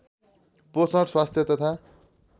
पोषण स्वास्थ्य तथा